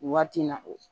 Waati in na o